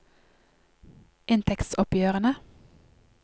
inntektsoppgjørene